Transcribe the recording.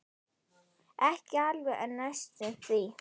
Ekki alveg en næstum því.